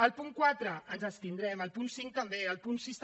al punt quatre ens abstindrem al punt cinc també al punt sis també